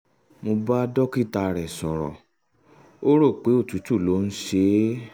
mo bá dókítà rẹ̀ sọ̀rọ̀ ó um rò pé òtútù ló ń ṣe um é